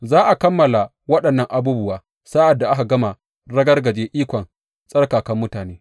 Za a kammala waɗannan abubuwa, sa’ad da aka gama ragargaje ikon tsarkakan mutane.